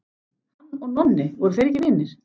Hann og Nonni, voru þeir ekki vinir?